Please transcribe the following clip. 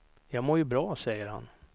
Jag mår ju bra, säger han.